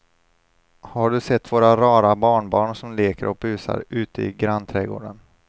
Har du sett våra rara barnbarn som leker och busar ute i grannträdgården!